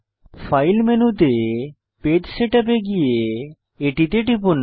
file মেনুতে page setup এ গিয়ে এটিতে টিপুন